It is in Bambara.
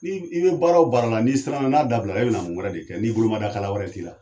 N'i i bɛ baara o baara la ni'i siranna n'a dabila e bɛ na mun wɛrɛ de kɛ n'i bolo mada kala wɛrɛ t'i la.